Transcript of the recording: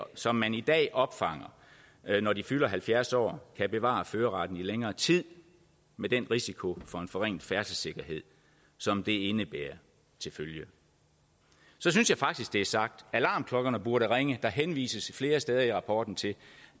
som man i dag opfanger når de fylder halvfjerds år kan bevare førerretten i længere tid med den risiko for en forringet færdselssikkerhed som det indebærer til følge så synes jeg faktisk det er sagt alarmklokkerne burde ringe der henvises flere steder i rapporten til